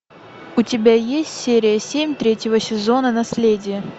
у тебя есть серия семь третьего сезона наследие